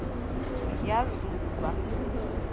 yazuba